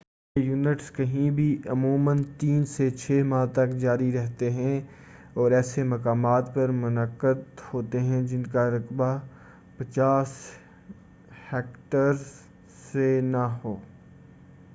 یہ ایونٹس کہیں بھی عموماً تین سے چھ ماہ تک جاری رہتے ہیں اور ایسے مقامات پر منعقد ہوتے ہیں جن کا رقبہ 50 ہیکٹرز سے نہ ہو